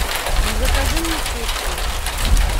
закажи мне чипсы